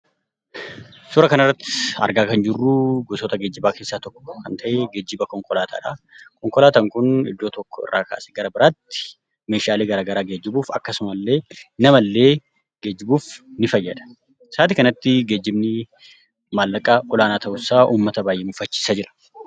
Suura kana irratti argaa kan jirru gosoota geejibaa keessaa tokko kan ta'e geejiba konkolaataadha. Konkolaataan kun iddoo tokko irraa kaasee gara biraatti Meeshaalee garaagaraa geejibuuf akkasuma illee nama illee geejibuuf ni fayyada. Naannoo kanatti Geejibni maallaqa olaanaa ta'uu isaa uummata baayyee mufachiisaa jira.